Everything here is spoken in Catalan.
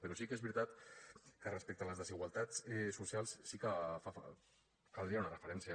però sí que és veritat que respecte a les desigualtats socials sí que caldria una referència